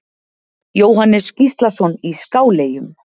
Jóhannes Gíslason í Skáleyjum